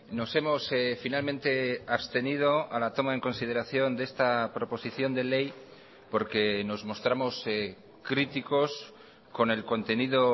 nos hemos finalmente abstenido a la toma en consideración d esta proposición de ley porque nos mostramos críticos con el contenido